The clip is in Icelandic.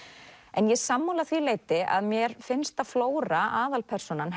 en ég er sammála að því leyti að mér finnst að flóra aðalpersónan